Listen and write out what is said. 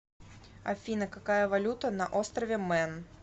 афина какая валюта на острове мэн